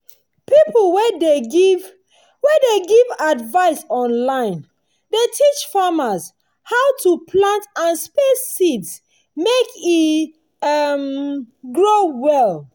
pipo wey de give wey de give advice online dey teach farmers how to plant and space seeds mek e um grow well.